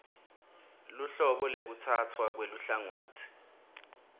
luhlobo lwekutsatfwa kweluhlangotsi